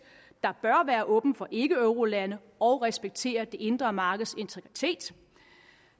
der bør være åben for ikkeeurolande og respektere det indre markeds integritet